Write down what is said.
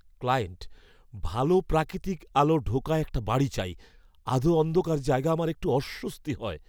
Client, "ভালো প্রাকৃতিক আলো ঢোকা একটা বাড়ি চাই, আধো অন্ধকার জায়গায় আমার একটু অস্বস্তি হয়।"